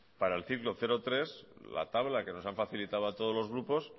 para el ciclo cero tres la tabla que nos han facilitado a todos los grupos